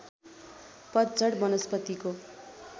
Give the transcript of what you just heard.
पतझड वनस्पतिको